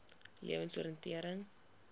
lewensoriëntering